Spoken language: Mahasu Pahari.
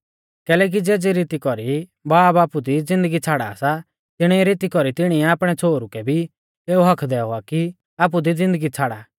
कैलैकि ज़ेज़ी रीती कौरी बाब आपु दी ज़िन्दगी छ़ाड़ा सा तिणी रीती कौरी तिणीऐ आपणै छ़ोहरु कै भी एऊ हक्क्क दैऔ आ कि आपु दी ज़िन्दगी छ़ाड़ा